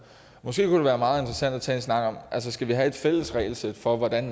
måske kunne det være meget interessant at tage en snak om skal vi have et fælles regelsæt for hvordan